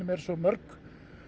eru svo mörg